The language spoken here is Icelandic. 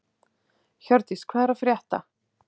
Hjördís, hvað er að frétta?